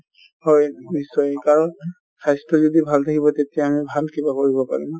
হয়, নিশ্চয় কাৰণ স্বাস্থ্য যদি ভাল থকিব তেতিয়া আমি ভাল কিবা কৰিব পাৰিম |